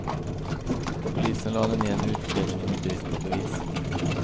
Polisen lade ned utredningen i brist på bevis.